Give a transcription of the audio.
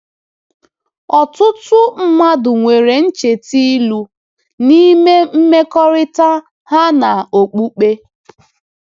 Ọtụtụ mmadụ nwere ncheta ilu n’ime mmekọrịta ha na okpukpe.